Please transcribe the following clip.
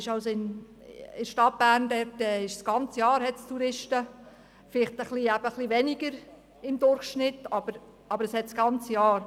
In der Stadt Bern hingegen gibt es das ganze Jahr Touristen – nur durchschnittlich weniger als an den anderen beiden Orten.